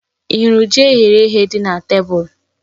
Ì hụrụ ji eyere èyé dị na tebụl?